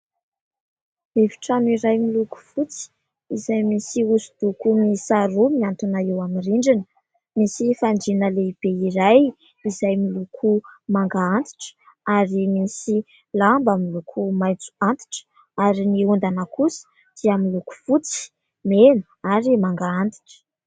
Efitrano iray miloko fotsy izay misy hosodoko miisa roa mihantona eo amin'ny rindrina. Misy fandriana lehibe iray izay miloko manga antitra, ary misy lamba miloko maitso antitra, ary ny ondana kosa dia miloko fotsy, mena ary manga antitra.